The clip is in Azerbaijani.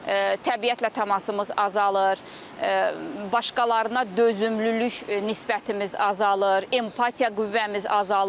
təbiətlə təmasımız azalır, başqalarına dözümlülük nisbətimiz azalır, empatiya qüvvəmiz azalır.